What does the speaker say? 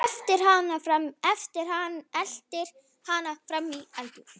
Eltir hana fram í eldhús.